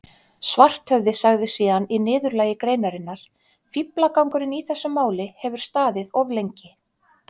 Svarthöfði sagði síðan í niðurlagi greinarinnar: Fíflagangurinn í þessu máli hefur staðið of lengi.